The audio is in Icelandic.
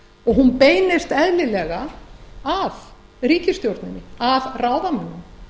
og hún beinist eðlilega að ríkisstjórninni að ráðamönnum